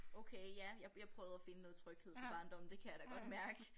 Okay ja jeg jeg prøvede at finde noget tryghed fra barndommen det kan jeg da godt mærke